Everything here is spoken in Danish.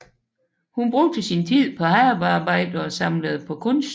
Hun brugte sin tid på havearbejde og samlede på kunst